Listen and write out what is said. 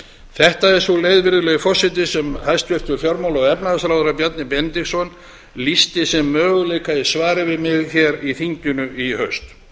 þetta er sú leið virðulegi forseti sem hæstvirtur fjármála og efnahagsráðherra bjarni benediktsson lýsti sem möguleika í svari við mig hér í þinginu í haust